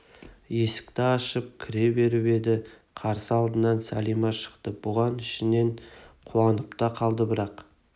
есікті ашып кіре беріп еді қарсы алдынан сәлима шықты бұған ішінен қуанып та қалды бірақ